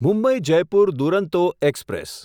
Mumbai Jaipur Duronto express